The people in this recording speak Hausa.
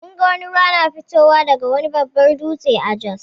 Mun ga ruwa na fitowa daga wani babbar dutse a Jos.